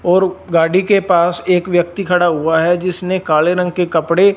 और गाड़ी के पास एक व्यक्ति खड़ा हुआ है जिसने काले रंग के कपड़े--